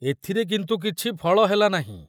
ଏଥୁରେ କିନ୍ତୁ କିଛି ଫଳ ହେଲା ନାହିଁ।